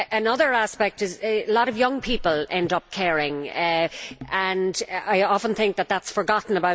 Another aspect is that a lot of young people end up caring, and I often think that is forgotten.